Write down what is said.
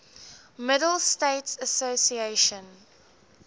middle states association